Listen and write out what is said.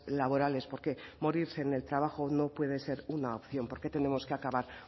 laborales porque morirse en el trabajo no puede ser una opción porque tenemos que acabar